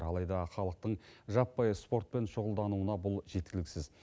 алайда халықтың жаппай спортпен шұғылдануына бұл жеткіліксіз